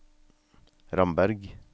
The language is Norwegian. Ramberg